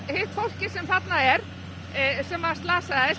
hitt fólkið sem þarna er sem slasaðist